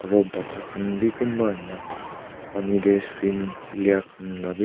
Aro bacha khan bi kunba ahina pani tey swim khili khan la bhi--